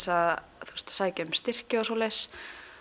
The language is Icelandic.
að sækja um styrki og svoleiðis